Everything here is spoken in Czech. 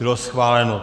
Bylo schváleno.